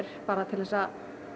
bara til að